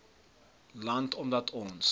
land omdat ons